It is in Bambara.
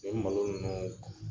E bi malo ninnu